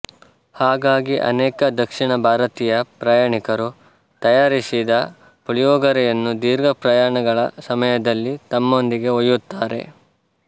ಹಾಗಾಗಿ ಅನೇಕ ದಕ್ಷಿಣ ಭಾರತೀಯ ಪ್ರಯಾಣಿಕರು ತಯಾರಿಸಿದ ಪುಳಿಯೋಗರೆಯನ್ನು ದೀರ್ಘ ಪ್ರಯಾಣಗಳ ಸಮಯದಲ್ಲಿ ತಮ್ಮೊಂದಿಗೆ ಒಯ್ಯುತ್ತಾರೆ